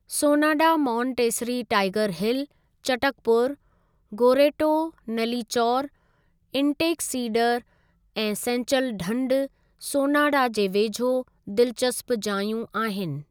Sonada Montessori Tiger Hill, Chatakpur. गोरेटो नलीचौर, इंटेक सीडर ऐं सेंचल ढंढ सोनाडा जे वेझो दिलचस्प जायूं आहिनि।